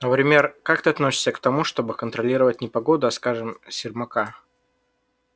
например как ты относишься к тому чтобы контролировать не погоду а скажем сермака